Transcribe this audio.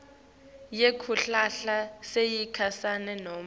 yekuhlala yesikhashana nobe